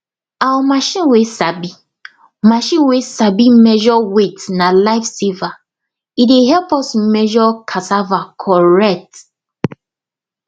our machine way sabi machine way sabi measure weight na lifesaver e dey help us measure cassava correct